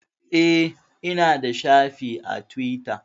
Eh, Ina da shafi a Tiwita